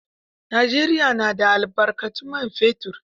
Najeriya na da albarkatun man fetur.